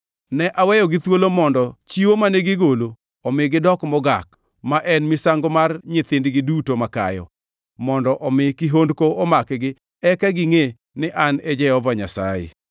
Ne aweyogi thuolo mondo chiwo mane gigolo omi gidok mogak; ma en misango mar nyithindgi duto makayo, mondo omi kihondko omakgi eka gingʼe ni An e Jehova Nyasaye!